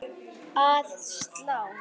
Að slá?